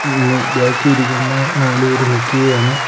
മ് ബാക്കി ഇരിക്കുന്ന നാല് പേര് നിക്കുകയുമാണ്.